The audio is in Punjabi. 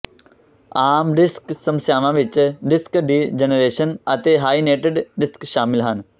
ਆਮ ਡਿਸਕ ਸਮੱਸਿਆਵਾਂ ਵਿੱਚ ਡਿਸਕ ਡੀਜਨਰੇਸ਼ਨ ਅਤੇ ਹਾਰੀਨੇਟਿਡ ਡਿਸਕ ਸ਼ਾਮਲ ਹਨ